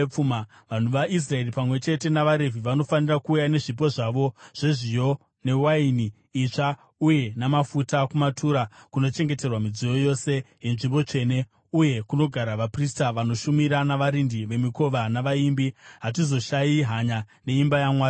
Vanhu vaIsraeri pamwe chete navaRevhi, vanofanira kuuya nezvipo zvavo zvezviyo, newaini itsva uye namafuta kumatura kunochengeterwa midziyo yose yenzvimbo tsvene, uye kunogara vaprista vanoshumira, navarindi vemikova navaimbi. “Hatizoshayiri hanya imba yaMwari wedu.”